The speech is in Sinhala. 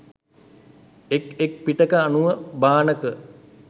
එක් එක් පිටක අනුව භාණක